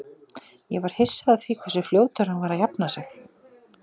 Ég var hissa á því hversu fljótur hann var að jafna sig.